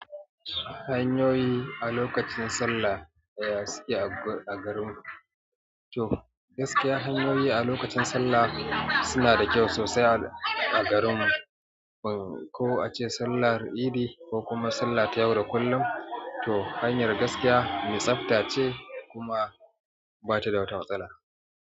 Hanyoyi a lokacin sallah daya suke agu a garin ku? To, gaskiya hanyoyi a lokacin sallah suna da kyau sosai a, a garinmu. Ko ace sallan idi ko kuma salla ta yau da kullum to hanyar gaskiya mai tsafta ce kuma bata da wata matsala.